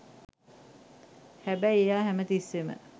හැබැයි එයා හැමතිස්සේම